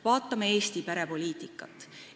Vaatame Eesti perepoliitikat.